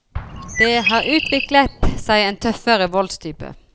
Det har utviklet seg en tøffere voldstype.